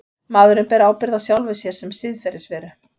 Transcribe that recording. Maðurinn ber ábyrgð á sjálfum sér sem siðferðisveru.